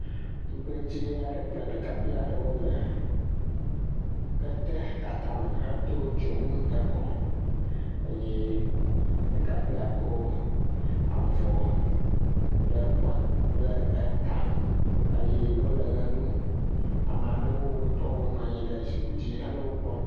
Tugbedze aɖe kple ɖekakpui aɖe le ketetata me hede dzonu ekɔ eye ɖekpuia kɔ avɔ ɖe kɔ ɖe eta eye wole ʋe ɖum ama ɖewo, wotɔwo le zipki dzi hele wo kpɔm.